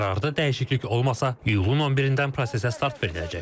Qərarda dəyişiklik olmasa, iyulun 11-dən prosesə start veriləcək.